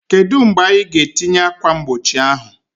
Kedu mgbe anyị ga-etinye ákwà mgbochi ahụ?